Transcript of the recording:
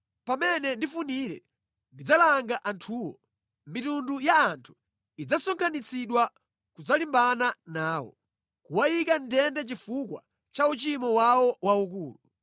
Pamene ndifunire, ndidzalanga anthuwo; mitundu ya anthu idzasonkhanitsidwa kudzalimbana nawo, kuwayika mʼndende chifukwa cha uchimo wawo waukulu.